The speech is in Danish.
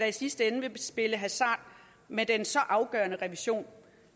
i sidste ende vil spille hasard med den så afgørende revision